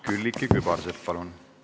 Külliki Kübarsepp, palun!